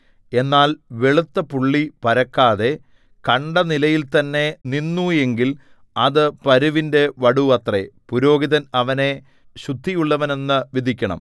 എന്നാൽ വെളുത്ത പുള്ളി പരക്കാതെ കണ്ട നിലയിൽത്തന്നെ നിന്നു എങ്കിൽ അത് പരുവിന്റെ വടു അത്രേ പുരോഹിതൻ അവനെ ശുദ്ധിയുള്ളവനെന്നു വിധിക്കണം